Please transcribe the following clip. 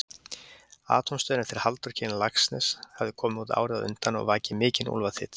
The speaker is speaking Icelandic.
Atómstöðin eftir Halldór Kiljan hafði komið út árið á undan og vakið mikinn úlfaþyt.